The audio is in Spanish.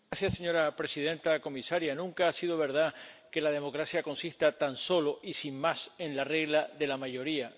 Señora presidenta, comisaria, nunca ha sido verdad que la democracia consista tan solo, y sin más, en la regla de la mayoría.